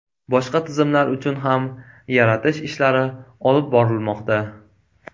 Boshqa tizimlar uchun ham yaratish ishlari olib borilmoqda.